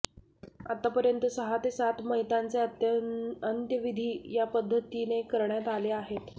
आतापर्यंत सहा ते सात मयतांचे अंत्यविधी या पद्धतीने करण्यात आले आहेत